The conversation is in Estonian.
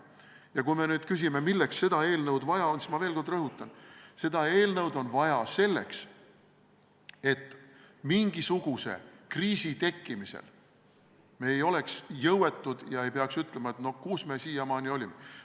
Ja kui te nüüd küsite, milleks seda eelnõu vaja on, siis ma veel kord rõhutan: seda eelnõu on vaja selleks, et me poleks mingisuguse kriisi tekkimisel jõuetud ega peaks ütlema, et kus me siiamaani olime.